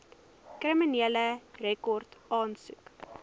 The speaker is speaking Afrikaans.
kriminele rekord aansoek